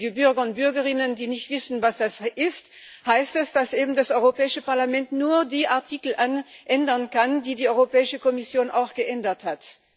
Für die Bürger und Bürgerinnen, die nicht wissen, was das ist das heißt, dass das Europäische Parlament nur die Artikel ändern kann, die die Europäische Kommission auch geändert hat.